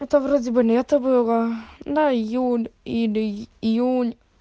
это вроде бы лето было да июль или июнь